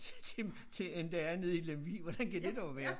End end der er nede i Lemvig hvordan kan det dog være